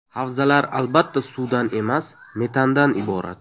Havzalar, albatta suvdan emas, metandan iborat.